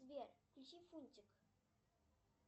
сбер включи фунтик